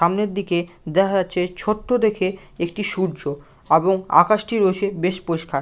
সামনের দিকে দেখা যাচ্ছে ছোট্ট দেখে একটি সূর্য এবং আকাশটি ও বেশি বেশ পরিষ্কার।